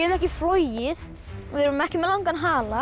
ekki flogið við erum ekki með langan hala